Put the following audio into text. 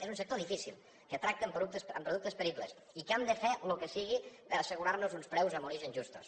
és un sector difícil que tracta amb productes peribles i que hem de fer el que sigui per assegurar nos uns preus en origen justos